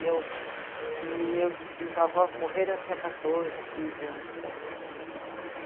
Meu, meus bisavós morreram quando eu tinha quatorze, quinze anos, por aí.